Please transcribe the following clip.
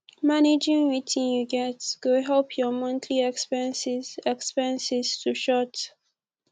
managing wetin yu get go help yur monthly expenses expenses to short